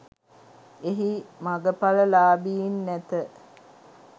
එහි මගඵල ලාබීන් නැත